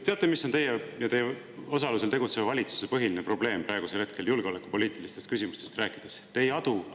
Teate, mis on teie ja teie osalusel tegutseva valitsuse põhiline probleem praegusel hetkel julgeolekupoliitilistest küsimustest rääkides?